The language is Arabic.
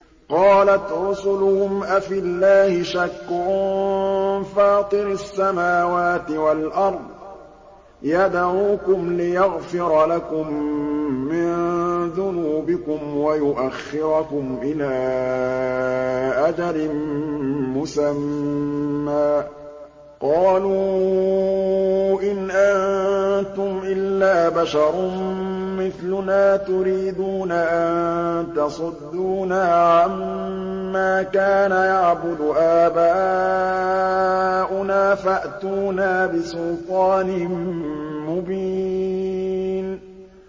۞ قَالَتْ رُسُلُهُمْ أَفِي اللَّهِ شَكٌّ فَاطِرِ السَّمَاوَاتِ وَالْأَرْضِ ۖ يَدْعُوكُمْ لِيَغْفِرَ لَكُم مِّن ذُنُوبِكُمْ وَيُؤَخِّرَكُمْ إِلَىٰ أَجَلٍ مُّسَمًّى ۚ قَالُوا إِنْ أَنتُمْ إِلَّا بَشَرٌ مِّثْلُنَا تُرِيدُونَ أَن تَصُدُّونَا عَمَّا كَانَ يَعْبُدُ آبَاؤُنَا فَأْتُونَا بِسُلْطَانٍ مُّبِينٍ